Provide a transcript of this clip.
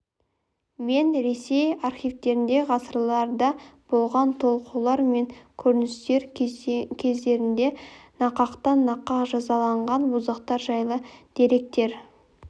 мен ресей архивтерінде ғасырларда болған толқулар мен көтерілістер кездерінде нақақтан нақақ жазаланған боздақтар жайлы деректер